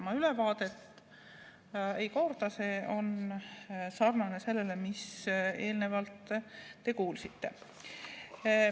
Ma ülevaadet ei korda, sest see on sarnane sellele, mida te eelnevalt kuulsite.